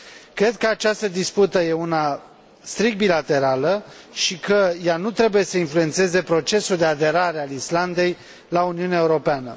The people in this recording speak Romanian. Cred că această dispută e una strict bilaterală și că ea nu trebuie să influențeze procesul de aderare al Islandei la Uniunea Europeană.